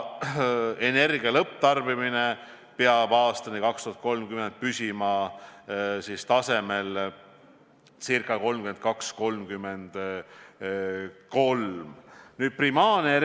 Energia lõpptarbimine peab aastani 2030 püsima tasemel 32–33 TWh/a.